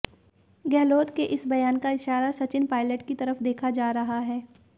गहलोत के इस बयान का इशारा सचिन पायलट की तरफ देखा जा रहा है